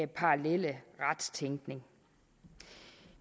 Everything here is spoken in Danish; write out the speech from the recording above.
parallelle retstænkning